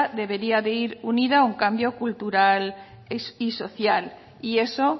debería de ir unida a un cambio cultural y social y eso